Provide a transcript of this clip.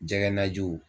Jɛgɛ najiw